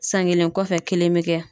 San kelen kɔfɛ ,kelen bɛ kɛ.